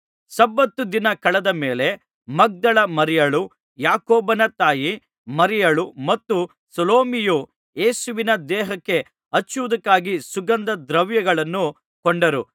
ಸಬ್ಬತ್ ದಿನ ಕಳೆದ ಮೇಲೆ ಮಗ್ದಲದ ಮರಿಯಳೂ ಯಾಕೋಬನ ತಾಯಿ ಮರಿಯಳೂ ಮತ್ತು ಸಲೋಮಿಯೂ ಯೇಸುವಿನ ದೇಹಕ್ಕೆ ಹಚ್ಚುವುದಕ್ಕಾಗಿ ಸುಗಂಧ ದ್ರವ್ಯಗಳನ್ನು ಕೊಂಡರು